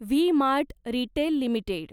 V mart retail limited